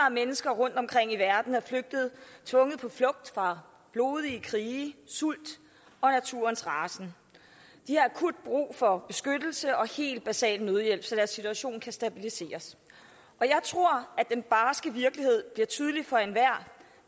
af mennesker rundtomkring i verden er flygtet tvunget på flugt fra blodige krige sult og naturens rasen de har akut brug for beskyttelse og helt basal nødhjælp så deres situation kan stabiliseres jeg tror at den barske virkelighed blev tydelig for enhver